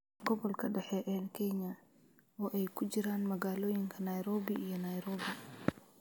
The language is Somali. Gobolka dhexe ee Kenya, oo ay ku jiraan magaalooyinka Nairobi iyo Nairobi.